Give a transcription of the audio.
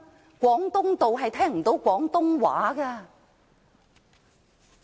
在廣東道是聽不到廣東話的。